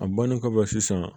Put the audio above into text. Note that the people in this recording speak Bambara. A bannen kɔfɛ sisan